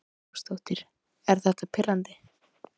Hrund Þórsdóttir: Er þetta pirrandi?